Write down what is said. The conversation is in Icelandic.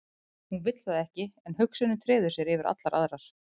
Hún vill það ekki en hugsunin treður sér yfir allar aðrar.